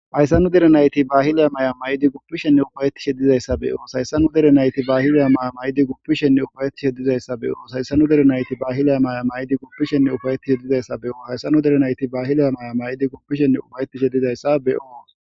hayssa nu derenayti baahila maya may7idi guppishenne ufayetishe dizayssabeyoos hayssanu derenayti baahila maya may7idi guppishenne ufayetishe dizayssa beyoos hayssanu derenayti baahilay maya may7idi guppishenne ufayettishe dizayssa beyoo hayssanu derenayti baahila maaya may7idi gupishenne ufayetishe dizayssa beqoos